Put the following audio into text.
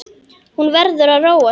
Hún verður að róa sig.